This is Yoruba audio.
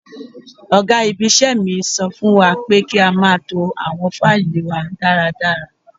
Ọ̀gá ibi-iṣẹ́ mi sọ fún wa pé kí a máa to àwọn faili wa dáradára.